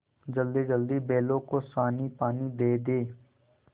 जल्दीजल्दी बैलों को सानीपानी दे दें